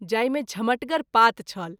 जाहि मे झमटगर पात छल।